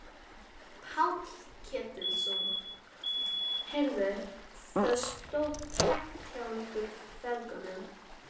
Stefán hagræddi sér á undnum skipsfjölunum.